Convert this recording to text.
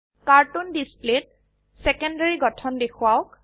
cartoon ডিসপ্লেত secondary গঠন দেখোৱাওক